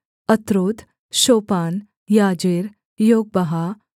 अत्रौत शोपान याजेर योगबहा